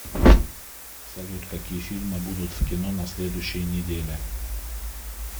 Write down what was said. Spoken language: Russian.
салют какие фильмы будут в кино на следующеи неделе